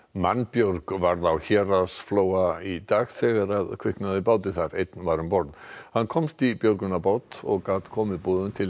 mannbjörg varð á Héraðsflóa í dag þegar kviknaði í báti einn var um borð hann komst í björgunarbát og gat komið boðum til